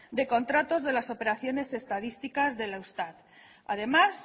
de contratos de las operaciones estadísticas del eustat además